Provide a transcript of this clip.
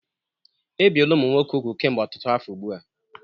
Ebiela ụmụ nwoke úgwù kemgbe ọtụtụ afọ ugbu a.